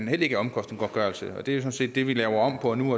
heller ikke omkostningsgodtgørelse det er sådan set det vi laver om på nu